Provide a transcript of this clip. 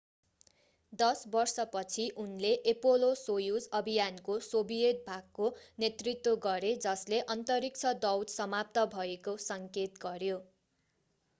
दश बर्षपछि उनले एपोलो-सोयुज अभियानको सोभियत भागको नेतृत्व गरे जसले अन्तरिक्ष दौड समाप्त भएको सङ्केत गर्यो